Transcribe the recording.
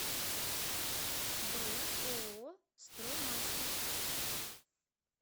бронь ооо строймастер